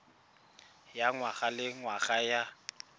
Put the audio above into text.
ya ngwaga le ngwaga ya